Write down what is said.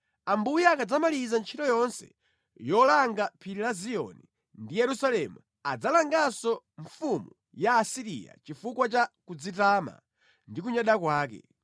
Ambuye akadzamaliza ntchito yonse yolanga phiri la Ziyoni ndi Yerusalemu adzalanganso mfumu ya ku Asiriya chifukwa cha kudzitama ndi kunyada kwake.